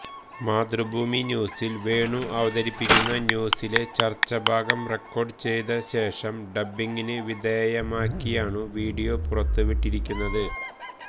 മാതൃഭൂമി ന്യൂസിൽ വേണു അവതരിപ്പിക്കുന്ന ന്യൂസിലെ ചർച്ച ഭാഗം റെക്കാർഡു ചെയ്ത ശേഷം ഡബ്ബിംഗിന് വിധേയമാക്കിയാണ് വീഡിയോ പുറത്തു വിട്ടിരിക്കുന്നത്